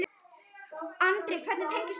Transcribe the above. Andri: Hvernig tengist þú þessu?